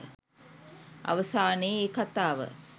අවසානයේ ඒ කතාව